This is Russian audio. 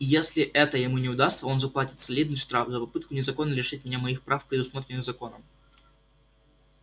и если это ему не удастся он заплатит солидный штраф за попытку незаконно лишить меня моих прав предусмотренных законом